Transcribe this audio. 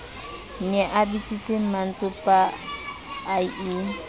ne a bitsitse mmantsopa ie